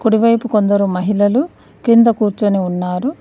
కుడివైపు కొందరు మహిళలు కింద కూర్చొని ఉన్నారు.